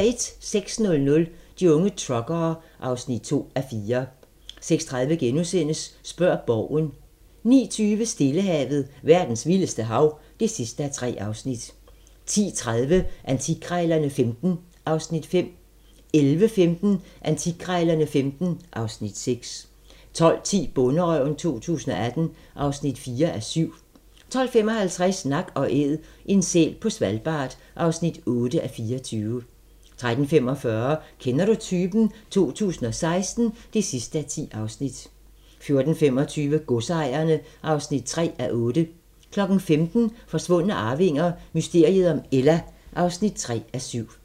06:00: De unge truckere (2:4) 06:30: Spørg Borgen * 09:20: Stillehavet - verdens vildeste hav (3:3) 10:30: Antikkrejlerne XV (Afs. 5) 11:15: Antikkrejlerne XV (Afs. 6) 12:10: Bonderøven 2018 (4:7) 12:55: Nak & Æd - en sæl på Svalbard (8:24) 13:45: Kender du typen? 2016 (10:10) 14:25: Godsejerne (3:8) 15:00: Forsvundne arvinger: Mysteriet om Ella (3:7)